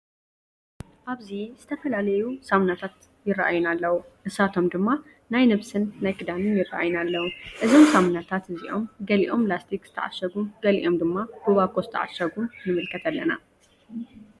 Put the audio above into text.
አብዚ ዝተፈላለዩ ሰምናታት ይረአዩና ኣለዉ። ንሳቶም ድማ ናይ ነብስን ናይ ክዳንን ይረአዩና ኣለዉ። እዞም ሳምናታት እዚኦም ገሊኦም ላስቲክ ዝተዓሸጉ ገሊኦም ድማ ብባኮ ዝተዓሸጉ ንምልከት ኣለና።